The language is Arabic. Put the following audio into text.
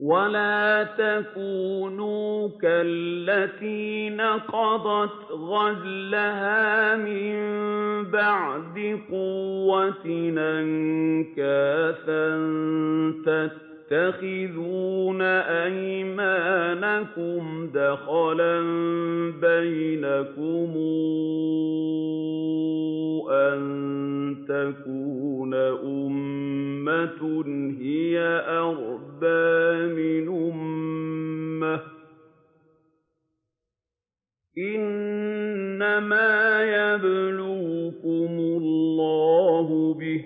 وَلَا تَكُونُوا كَالَّتِي نَقَضَتْ غَزْلَهَا مِن بَعْدِ قُوَّةٍ أَنكَاثًا تَتَّخِذُونَ أَيْمَانَكُمْ دَخَلًا بَيْنَكُمْ أَن تَكُونَ أُمَّةٌ هِيَ أَرْبَىٰ مِنْ أُمَّةٍ ۚ إِنَّمَا يَبْلُوكُمُ اللَّهُ بِهِ ۚ